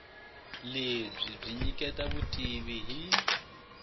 lebyi byi nyiketa vutivi hi